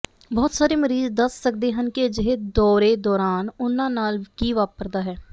ਬਹੁਤ ਸਾਰੇ ਮਰੀਜ਼ ਦੱਸ ਸਕਦੇ ਹਨ ਕਿ ਅਜਿਹੇ ਦੌਰੇ ਦੌਰਾਨ ਉਹਨਾਂ ਨਾਲ ਕੀ ਵਾਪਰਦਾ ਹੈ